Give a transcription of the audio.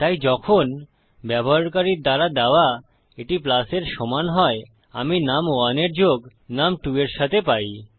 তাই যখন ব্যবহারকারীর দ্বারা দেওয়া এটি প্লাস এর সমান হয় আমরা নুম1 এর যোগ নুম2 এর সাথে পাই